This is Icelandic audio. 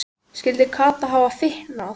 Skyldi Kata hafa fitnað?